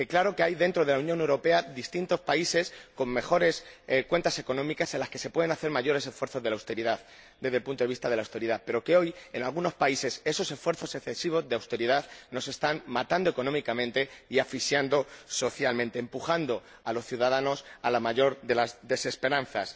Claro que, dentro de la Unión Europea, hay distintos países con mejores cuentas económicas, en las que se pueden hacer mayores esfuerzos desde el punto de vista de la austeridad, pero también es verdad que hoy, en algunos países, esos esfuerzos excesivos de austeridad nos están matando económicamente y asfixiando socialmente. Están empujando a los ciudadanos a la mayor de las desesperanzas.